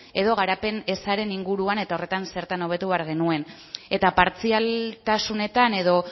edo garapen ezaren inguruan eta horretan zertan hobetu behar genuen eta partzialtasunetan edo